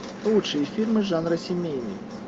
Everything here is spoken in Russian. лучшие фильмы жанра семейный